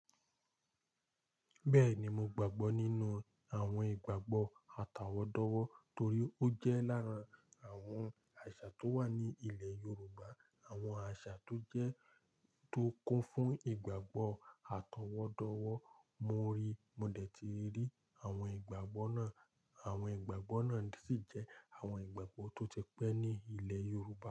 Bẹ́ẹ̀ni, mo gbàgbọ́ nínú àwọn ìgbàgbọ́ àtàwọ́dọ̀wọ́ torí ó jẹ́ láàrín àwọn àṣà tó wà ní ilẹ̀ Yorùbá. Àwọn àṣà tó jẹ́ tó kún fún ìgbàgbọ́ àtàwọ́dọ̀wọ́. Mo rí, mo dẹ̀ ti rí àwọn ìgbàgbọ́ náà. Àwọn ìgbàgbọ́ náà sì jẹ́ àwọn ìgbàgbọ́ tó ti pẹ́ ní ilẹ̀ Yorùbá.